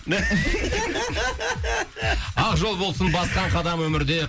ақ жол болсын басқан қадам өмірде